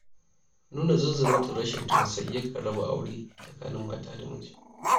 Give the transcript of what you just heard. Nuna zunzurutun rashin tausayi yakan raba aure tsakanin mata da miji.